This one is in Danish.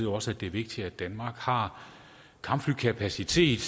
også at det er vigtigt at danmark har kampflykapacitet